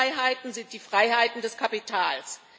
Grundfreiheiten sind die Freiheiten des Kapitals.